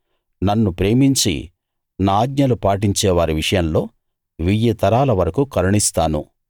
నన్ను ప్రేమించి నా ఆజ్ఞలు పాటించే వారి విషయంలో వెయ్యి తరాల వరకూ కరుణిస్తాను